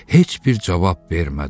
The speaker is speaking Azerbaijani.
Heç bir cavab vermədi.